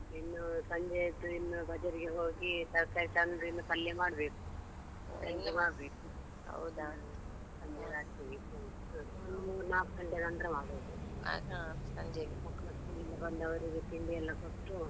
ಇನ್ನು ಸಂಜೆದು ಇನ್ನು बाज़ार ಗೆ ಹೋಗಿ ತರ್ಕಾರಿ ತಂದ್ರೆ ಇನ್ನು ಪಲ್ಯ ಮಾಡ್ಬೇಕು. ಇನ್ನು ಮಾಡ್ಬೇಕು, ಸಂಜೇದ್ ಆಗ್ತದೆ ಇನ್ ಮೂರ್ ನಾಕು ಗಂಟೆ ನಂತ್ರ ಮಾಡುದು. ಸಂಜೆಗ್ ಮಕ್ಳು school ಇಂದ ಬಂದವರಿಗೆ ತಿಂಡಿ ಎಲ್ಲ ಕೊಟ್ಟು.